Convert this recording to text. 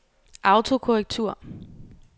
autokorrektur